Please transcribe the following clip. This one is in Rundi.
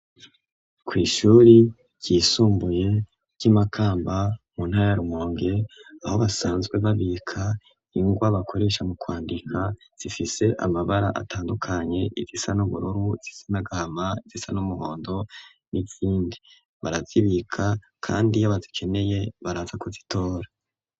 Kw'ishure ryisumbuye ry'i Makamba mu ntara ya Rumonge aho basanzwe babika ingwa bakoresha mu kwandika zifise amabara atandukanye, izisa n'ubururu, izisa n'agahama, izisa n'umuhondo n'izindi. Barazibika kandi iyo bazikeneye baraza kuzitora.